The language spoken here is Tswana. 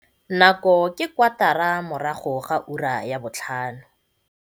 Nako ke kwatara morago ga ura ya botlhano.